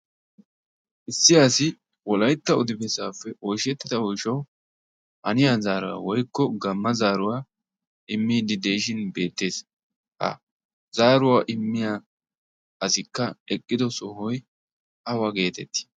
issi asi wolaytta udifersaappe oyshettida oyshuwau haniya zaaruwaa woykko gamma zaaruwaa immiddi de'ishin beettees ha zaaruwaa immiya asikka eqqido sohoy awa geetettii